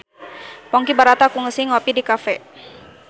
Ponky Brata kungsi ngopi di cafe